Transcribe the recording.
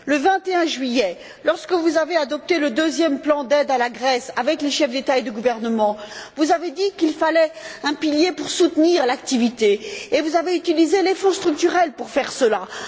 Le 21 juillet, lorsque vous avez adopté le deuxième plan d'aide à la Grèce, avec les chefs d'État et de gouvernement, vous avez dit qu'il fallait un pilier pour soutenir l'activité, et vous avez utilisé les Fonds structurels à cette fin.